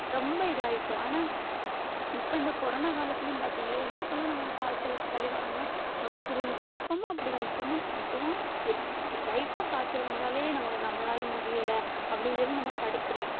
ரொம்ப இதாயிட்டு ஆனா இப்ப இந்த corona காலத்துலயும் பார்த்தீங்களா எள்ளு போல நமக்கு காய்ச்சல் சளி வராமல் நம்ம சுருண்டு இப்பவும் அப்படிதான் இப்பவும் இப்பவும் எல்~ light ஆ காய்ச்சல் வந்தாலே நமக்கு நம்மளால முடியலை அப்படின்னு சொல்லி நம்ம படுத்துறோம்.